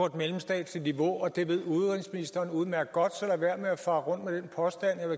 et mellemstatsligt niveau og det ved udenrigsministeren udmærket godt så lad være med at fare rundt med den påstand